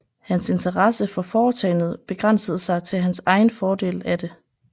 Hans interesse for foretagendet begrænsede sig til hans egen fordel af det